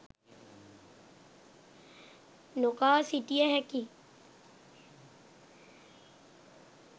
නොකා සිටිය හැකියි